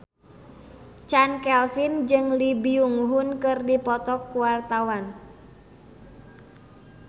Chand Kelvin jeung Lee Byung Hun keur dipoto ku wartawan